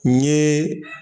N ye